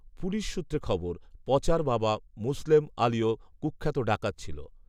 police সূত্রে খবর, পচার বাবা মুসলেম‍ আলিও কুখ্যাত ডাকাত ছিল